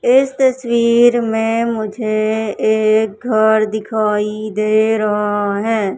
इस तस्वीर में मुझे एक घर दिखाई दे रहा है।